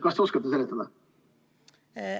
Kas te oskate seda seletada?